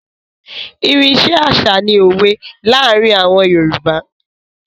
Irin iṣẹ́ àṣà ni òwe láàárín àwọn Yorùbá.